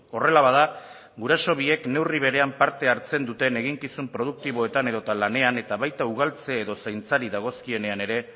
horrela bada guraso biek neurri berean parte hartzen duten eginkizun produktiboetan edota lanean eta baita ugaltze edo zaintzari dagozkienean ere